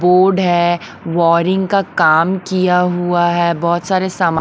board है wiring का काम किया हुआ है बहुत सारे साम--